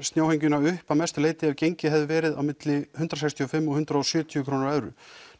snjóhengjuna upp að mestu leyti ef gengið hafi verið milli hundrað sextíu og fimm til hundrað og sjötíu á evrunni